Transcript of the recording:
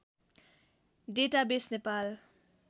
database Nepal